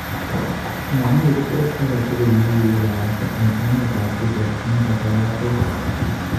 Mamii ribot ake tugul ne kigibarasta eng emet ab sweden eng kasartanoto